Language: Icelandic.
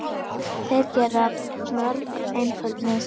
Þeir gerðu mörg einföld mistök.